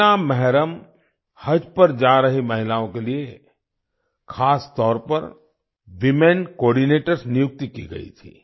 बिना मेहरम हज पर जा रही महिलाओं के लिए ख़ासतौर पर वूमेन कोआर्डिनेटर्स नियुक्ति की गई थी